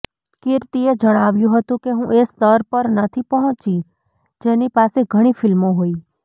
કીર્તિએ જણાવ્યું હતું કે હું એ સ્તર પર નથી પહોંચી જેની પાસે ઘણી ફિલ્મો હોય